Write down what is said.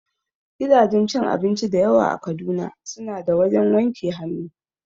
Gidajen cin abinci dayawa a Kaduna, su na da wajen wanke hannu